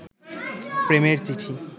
প্রেমের চিঠি